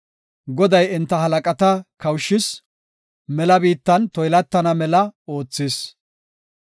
Goday enta halaqata kawushis; mela biittan toylatana mela oothis.